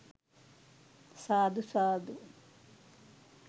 සාදු! සාදු!